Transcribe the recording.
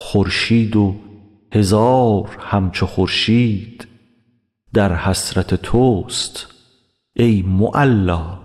خورشید و هزار همچو خورشید در حسرت تست ای معلا